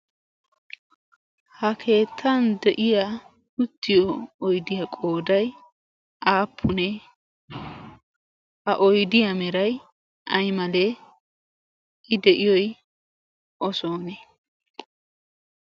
ha keettan de'iya tuttiyo oydiyaa qooday aappunee ha oydiyaa meray ay malee i de'iyoy osoonee ?